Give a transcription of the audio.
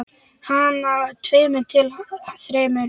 Handa tveimur til þremur